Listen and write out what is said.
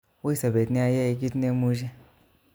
Ui sobet nia yai kitnemuche